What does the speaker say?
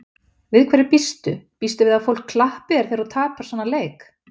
Við hverju býstu, býstu við að fólk klappi þegar þú tapar svona leik?